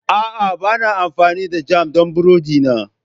A'a, ba na amfani da jam don burodi na.